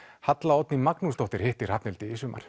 Halla Oddný Magnúsdóttir hitti Hrafnhildi í sumar